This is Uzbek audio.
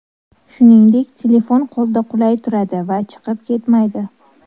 Shuningdek, telefon qo‘lda qulay turadi va chiqib ketmaydi.